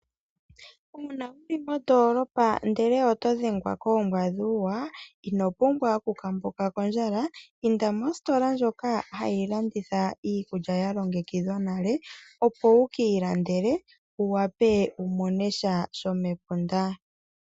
Uuna wuli mondoolopa ndele oto dhengwa koombwa dhuuwa inopumbwa Okukambuka kondjalaa ,inda mositola ndjoka hayi landitha iikulya ya longekidhwa nale opo wuki ilandele wu wape wumonesha shomepunda